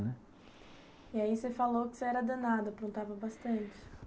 Né, e aí você falou que você era danado, aprontava bastante.